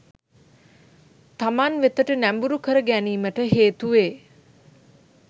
තමන් වෙතට නැඹුරු කර ගැනීමට හේතු වේ.